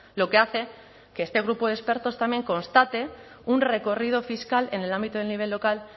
lo que hace que este grupo de expertos también constate un recorrido fiscal en el ámbito del nivel local